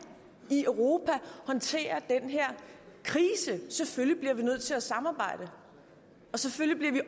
i europa håndtere den her krise selvfølgelig bliver vi nødt til at samarbejde og selvfølgelig